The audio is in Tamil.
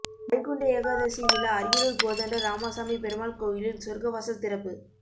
வைகுண்ட ஏகாதசி விழா அரியலூர் கோதண்ட ராமசாமி பெருமாள் கோயிலில் சொர்க்கவாசல் திறப்பு